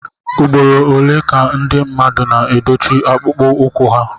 ugboro ole ka ndị mmadụ na edochie akpụkpọ ụkwụ ha